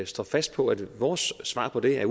står fast på at vores svar på det er